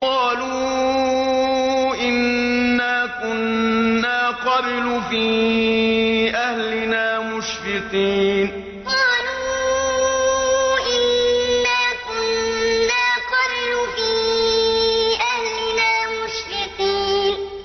قَالُوا إِنَّا كُنَّا قَبْلُ فِي أَهْلِنَا مُشْفِقِينَ قَالُوا إِنَّا كُنَّا قَبْلُ فِي أَهْلِنَا مُشْفِقِينَ